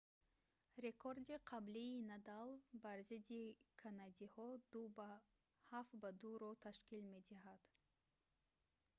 рекорди қаблии надал бар зидди канадиҳо 7-2‑ро ташкил медиҳад